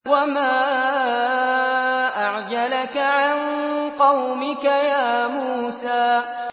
۞ وَمَا أَعْجَلَكَ عَن قَوْمِكَ يَا مُوسَىٰ